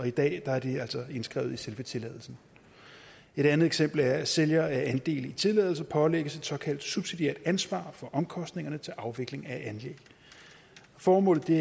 i dag er det altså indskrevet i selve tilladelsen et andet eksempel er at sælger af andele i tilladelser pålægges et såkaldt subsidiært ansvar for omkostningerne til afvikling af anlæg formålet er